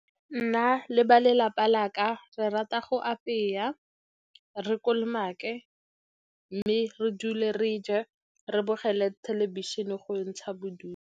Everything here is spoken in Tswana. Nna le ba lelapa la ka re rata go apeya, re kolomake, mme re dule re ja, re bogele thelebišene go ntsha bodutu.